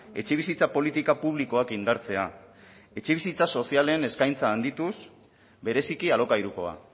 etxebizitza politika publikoak indartzea etxebizitza sozialen eskaintza handituz bereziki alokairukoa